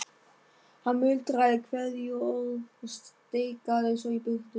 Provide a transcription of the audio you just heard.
Hann muldraði kveðjuorð og stikaði svo í burtu.